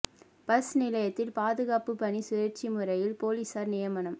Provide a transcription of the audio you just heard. bus நிலையத்தில் பாதுகாப்பு பணி சுழற்சி முறையில் போலீசார் நியமனம்